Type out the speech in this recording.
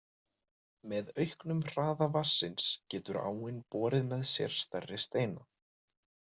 Með auknum hraða vatnsins getur áin borið með sér stærri steina.